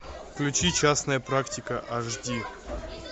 включи частная практика аш ди